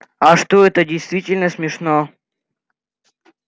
а что это действительно смешно